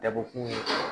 Dabɔkun ye